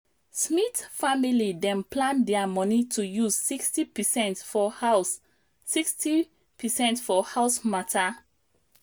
smith family dem plan their money to use 60 percent for house 60 percent for house matter